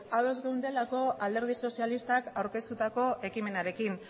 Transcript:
ados geundelako alderdi sozialistak aurkeztutako ekimenarekin